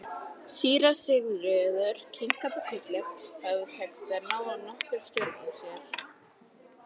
Síra Sigurður kinkaði kolli og hafði tekist að ná nokkurri stjórn á sér.